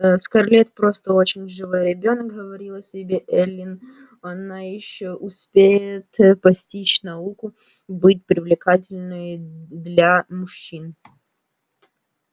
скарлетт просто очень живой ребёнок говорила себе эллин она ещё успеет постичь науку быть привлекательной для мужчин